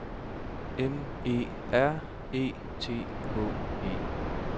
M E R E T H E